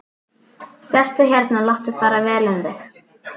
Sestu hérna og láttu fara vel um þig!